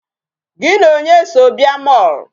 Gị na onye so bịa mall?